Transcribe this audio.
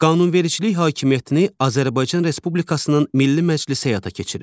Qanunvericilik hakimiyyətini Azərbaycan Respublikasının Milli Məclisi həyata keçirir.